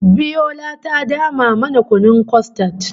Biola ta dama mana kunun kostad